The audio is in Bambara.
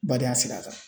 Badenya sira kan